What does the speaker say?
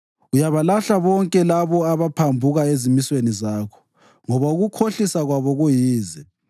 Uyabalahla bonke labo abaphambuka ezimisweni zakho, ngoba ukukhohlisa kwabo kuyize.